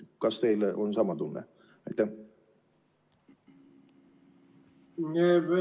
Kas teil on sama tunne?